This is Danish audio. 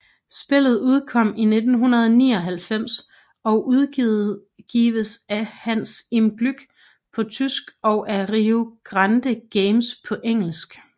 Spillet udkom i 1999 og udgives af Hans im Glück på tysk og af Rio Grande Games på engelsk